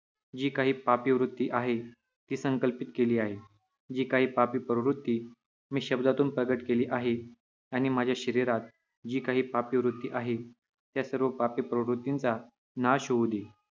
जी काही पापी वृत्ती मी संकल्पित केली आहे, जी काही पापी प्रवृत्ती मी शब्दांतून प्रकट केली आहे आणि माझ्या शरीरात जी काही पापी वृत्ती आहे, त्या सर्व पापी प्रवृत्तींचा नाश होऊ दे.